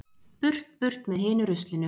Burt burt með hinu ruslinu.